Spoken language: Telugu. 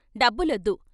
' డబ్బులొద్దు.